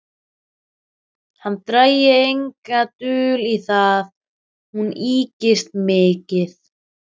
Hann drægi enga dul á það: hún ykist mikið.